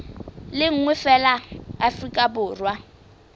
le nngwe feela afrika borwa